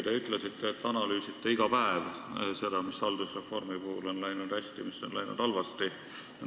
Te ütlesite, et analüüsite iga päev seda, mis on haldusreformi puhul läinud hästi ja mis on läinud halvasti.